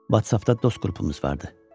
WhatsApp-da dost qrupumuz vardı.